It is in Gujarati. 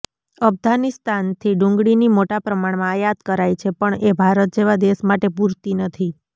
અફઘાનિસ્તાનથી ડુંગળીની મોટા પ્રમાણમાં આયાત કરાઈ છે પણ એ ભારત જેવા દેશ માટે પૂરતી નથી